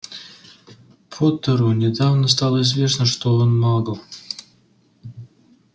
поттеру недавно стало известно что он магл